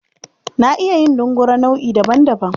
Na iya yin dungure nau'i daban-daban.